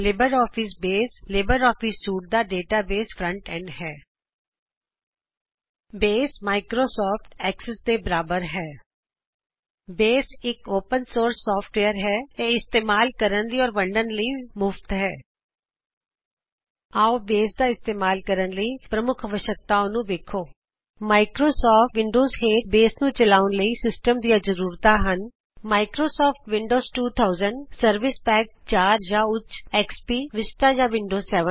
Libre Office Base Libre Office suite ਦਾ database front end ਹੈ Base Microsoft Access ਦੇ ਬਰਾਬਰ ਹੈ ਬੇਸ ਫ੍ਰੀ ਅਤੇ ਓਪਿਨ ਸੋਰਸ ਸੌਫਟਵੇਯਰ ਹੈ ਅਤੇ ਇਸਤੇਮਾਲ ਕਰਨ ਅਤੇ ਵੰਡਨ ਲਈ ਮੁਫਤ ਹੈ ਆਓ ਅਸੀ ਬੇਸ ਦਾ ਇਸਤੇਮਾਲ ਕਰਨ ਲਈ ਪ੍ਰੀਰੈਕੁਜ਼ਿਟ ਵੇਖ ਲਿਇਯੇ ਮਾਇਕ੍ਰੋਸੌਫਟ ਵਿਨਡੋਜ਼ ਹੇਠ ਬੇਸ ਨੂੰ ਚਲਾਉਨ ਲਈ ਸਿਸਟਮ ਦਿਆਂ ਜ਼ਰੂਰਤਾਂ ਹਨ ਮਾਇਕ੍ਰੋਸੌਫਟ ਵਿਨਡੋਜ਼ 2000ਸਰਵਿਸ ਪੌਕ 4 ਜਾੰ ਉੱਚ ਐਕਸਪੀ ਵਿਸਟਾ ਜਾੰ ਵਿਨਡੋਜ 7